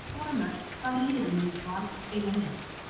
Með því að skora mörk Hvaða liði myndir þú aldrei spila með?